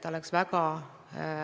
Ja EAS on kaasanud kõik turismiettevõtted.